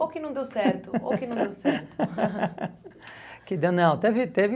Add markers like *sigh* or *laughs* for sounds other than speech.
*laughs* Ou que não deu certo, ou que não deu certo. Que deu, não, teve, teve...